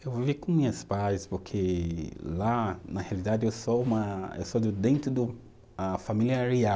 Eu vivia com pais, porque lá, na realidade, eu sou uma, eu sou de dentro do, a família